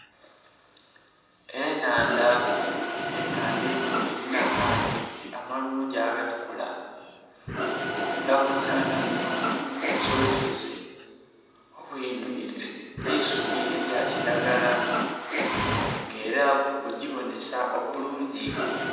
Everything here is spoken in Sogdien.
Ennhandha, ennhandha enho erinha amaadhi amalungi agatukula era kunhandha munho mulimu obusozi sozi bwidwire eisubi elya kilagala nga era bugibonhesa obulungi.